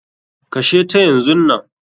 Kashe ta yanzunnan.